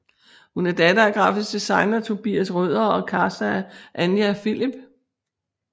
Hun er datter af grafisk designer Tobias Røder og caster Anja Philip